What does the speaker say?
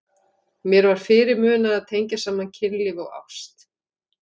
Mér var fyrirmunað að tengja saman kynlíf og ást.